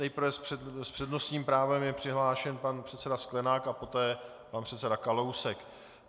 Nejprve s přednostním právem je přihlášen pan předseda Sklenák a poté pan předseda Kalousek.